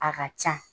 A ka ca